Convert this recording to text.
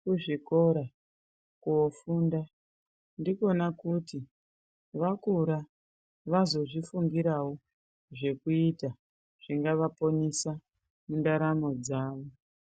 kuzvikora kofunda. Ndikona kuti vakura vazozvifungiravo zvekuita zvingavaponesa mundaramo dzavo.